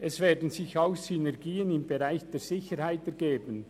Es werden sich auch Synergien im Bereich der Sicherheit ergeben.